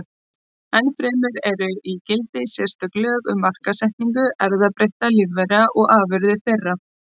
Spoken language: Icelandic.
Ennfremur eru í gildi sérstök lög um markaðssetningu erfðabreyttra lífvera og afurða þeirra.